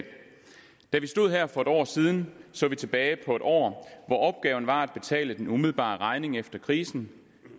stod her for en år siden så vi tilbage på et år hvor opgaven var at betale den umiddelbare regning efter krisen